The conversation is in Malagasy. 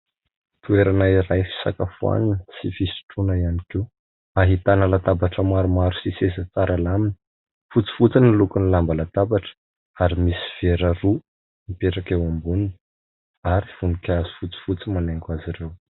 Toerana iray fisakafoana sy fisotroana ihany koa ahitana latabatra maromaro sy seza tsara lamina. Fotsy fotsy ny loko ny lamba latabatra ary misy vera roa mipetraka eo amboniny ary voninkazo fotsy fotsy manaingo azy ireo.